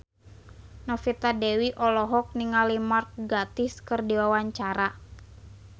Novita Dewi olohok ningali Mark Gatiss keur diwawancara